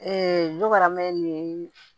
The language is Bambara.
karamaya nin